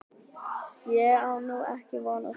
Ég á nú ekki von á því.